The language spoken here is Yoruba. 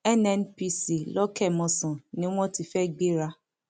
nnpc lọkẹmòsàn ni wọn ti fẹẹ gbéra